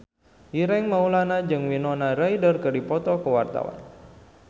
Ireng Maulana jeung Winona Ryder keur dipoto ku wartawan